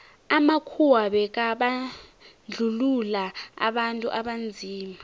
amakhuwa bekabandluua abantu abanzima